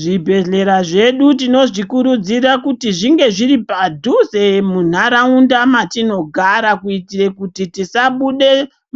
Zvibhedhlera zvedu tinozvikurudzira kuti zvinge zviri padhuze muharaunda matinogara. Kuitire kuti tisabude